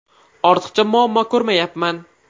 Ortiqcha muammo ko‘rmayapman.